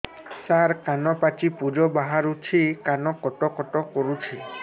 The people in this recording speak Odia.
ସାର କାନ ପାଚି ପୂଜ ବାହାରୁଛି କାନ କଟ କଟ କରୁଛି